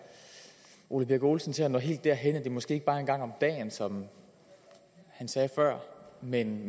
ole birk olesen til at nå helt derhen at det måske ikke bare er en gang om dagen som han sagde før men